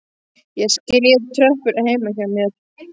Ég skríð upp tröppurnar heima hjá mér.